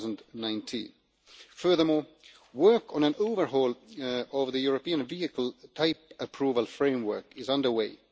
2019. Furthermore, work on an overhaul of the European vehicle type approval framework is under way.